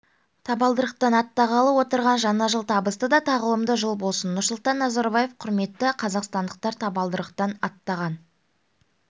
табалдырықтан аттағалы отырған жаңа жыл табысты да тағылымды жыл болсын нұрсұлтан назарбаев құрметті қазақстандықтар табалдырықтан аттаған